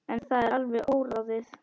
En það er alveg óráðið.